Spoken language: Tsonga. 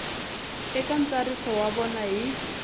eka ntsariso wa vona hi